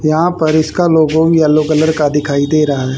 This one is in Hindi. यहां पर इसका लोगो येलो कलर का दिखाई दे रहा--